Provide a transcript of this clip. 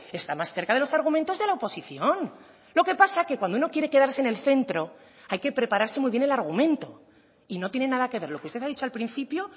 está más cerca de los argumentos de la oposición lo que pasa que cuando uno quiere quedarse en el centro hay que prepararse muy bien el argumento y no tiene nada que ver lo que usted ha dicho al principio